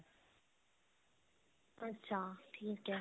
ਅੱਛਾ ਠੀਕ ਹੈ